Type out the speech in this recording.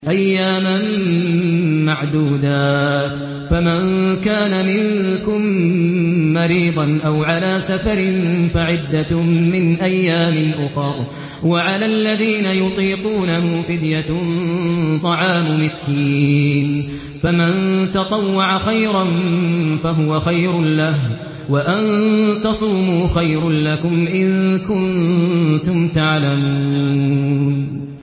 أَيَّامًا مَّعْدُودَاتٍ ۚ فَمَن كَانَ مِنكُم مَّرِيضًا أَوْ عَلَىٰ سَفَرٍ فَعِدَّةٌ مِّنْ أَيَّامٍ أُخَرَ ۚ وَعَلَى الَّذِينَ يُطِيقُونَهُ فِدْيَةٌ طَعَامُ مِسْكِينٍ ۖ فَمَن تَطَوَّعَ خَيْرًا فَهُوَ خَيْرٌ لَّهُ ۚ وَأَن تَصُومُوا خَيْرٌ لَّكُمْ ۖ إِن كُنتُمْ تَعْلَمُونَ